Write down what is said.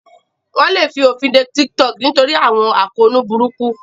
Wọ́n lè fòfinde TikTok nítorí àwọn àkóónú burúkú